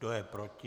Kdo je proti?